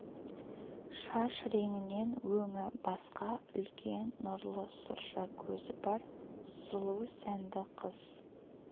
шаш реңінен өңі басқа үлкен нұрлы сұрша көзі бар сұлу сәнді қыз